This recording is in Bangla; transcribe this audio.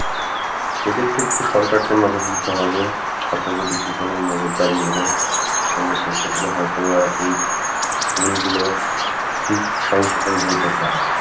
সেদিক টা একটু সরকারকে নজর দিতে হবে, সরকার যদি ঠিক মতন নজর দারি করে তাহলে সেক্ষেত্রে হয়তো বা এই ভুল গুলো ঠিক সংশোধন হইতে পারে